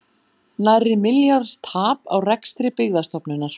Nærri milljarðs tap á rekstri Byggðastofnunar